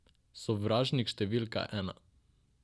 Sovražnik številka ena.